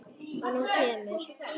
Og hún kemur.